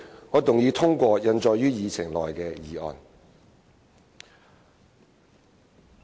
我動議通過印載於議程內的議案。